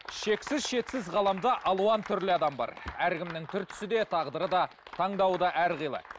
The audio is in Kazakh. шексіз шетсіз ғаламда алуан түрлі адам бар әркімнің түр түсі де тағдыры да таңдауы да әрқилы